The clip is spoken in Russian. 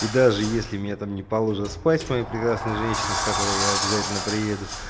и даже если меня там не положат спать с моей прекрасной женщиной с которой я обязательно приеду